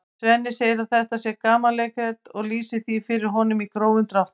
Svenni segir að þetta sé gamanleikrit og lýsir því fyrir honum í grófum dráttum.